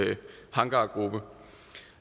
hangargruppe